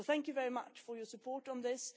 So thank you very much for your support on this.